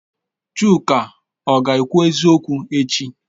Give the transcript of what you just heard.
Chuka ọ ga-ekwu eziokwu echi?